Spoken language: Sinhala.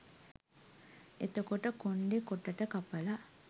එතකොට කොණ්ඩේ කොටට කපලා